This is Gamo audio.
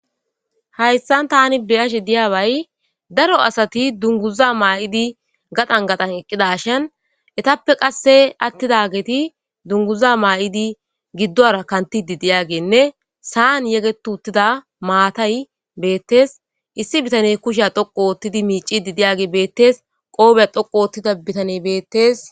Hayssan tani beyashe diyaaway daro asati dunguza maa'idi gadan gadan eqqidashan etappe qasse attida geti dunguza maa'idi giddora kantidi diyagenne saan yegetu uttida maatay beettes issi bitane kushiya dhoqu oottidi miicidi diyage beettees qoobeya dhoqu oottida bitane beettees